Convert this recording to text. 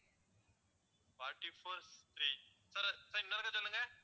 forty-four three sir sir இன்னொரு தடவை சொல்லுங்க